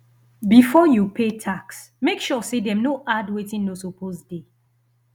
before you pay tax make sure say dem no add wetin no suppose dey